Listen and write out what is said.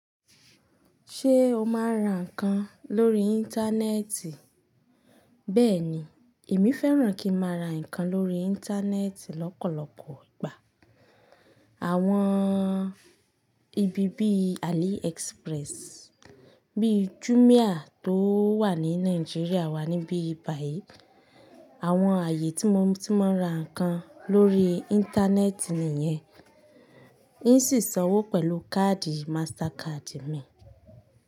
Ṣé o máa ń ra nǹkan lórí Íńtánẹ́ẹ̀tì? Bẹ́ẹ̀ni, èmi fẹ́ràn kí n ma ra nǹkan lórí Íńtánẹ́ẹ̀tì lọ́pọ̀lọpọ̀ ìgbà. Àwọn ibi bí AliExpress, bí Jumia tó wà ní Nàìjíríà wà níbí báyìí. Àwọn ààyè tí mo tí máa ń ra nǹkan lórí Íńtánẹ́ẹ̀tì nìyẹn. N sì sanwó pẹ̀lú káàdì Mastercard mi.